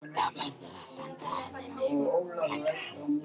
Þá verðurðu að senda henni mig, sagði hann.